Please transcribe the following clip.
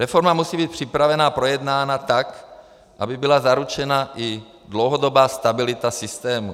Reforma musí být připravena a projednána tak, aby byla zaručena i dlouhodobá stabilita systému.